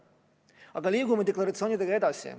Aga liigume deklaratsioonidega edasi!